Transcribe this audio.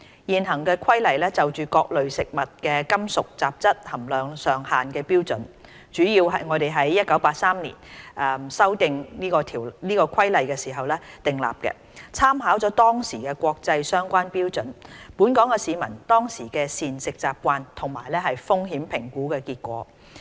現行《規例》就各類食物的金屬雜質含量上限的標準，主要是我們在1983年修訂該《規例》時訂立的，參考了當時的國際相關標準、本港市民當時的膳食習慣，以及風險評估結果。